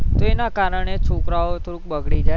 તો એના કારણે છોકરા ઓ તો બગડી જાય